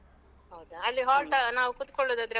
ಹೌದಾ? ಅಲ್ಲಿ halt ನಾವು ಕೂತ್ಕೋಳ್ಳುದಾದ್ರೆ halt?